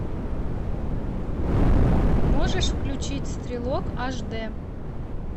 можешь включить стрелок аш д